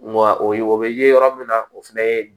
Nga o ye o bɛ ye yɔrɔ min na o fɛnɛ ye